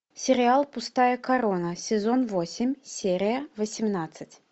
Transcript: сериал пустая корона сезон восемь серия восемнадцать